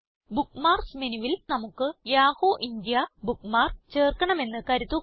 bookmarks മെനുവിൽ നമുക്ക് Yahoo India bookmark ചേർക്കണം എന്ന് കരുതുക